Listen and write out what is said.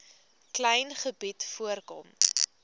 klein gebied voorkom